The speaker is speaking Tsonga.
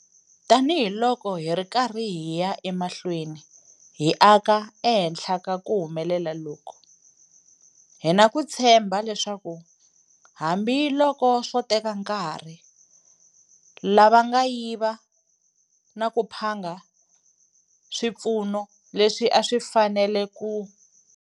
Tanihiloko hi ri karhi hi ya emahlweni hi aka ehenhla ka ku humelela loku, hi na ku tshemba leswaku hambiloko swo teka nkarhi, lava nga yiva na ku phanga swipfuno leswi a swi fanele ku.